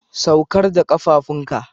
Saukar da kafafun ka.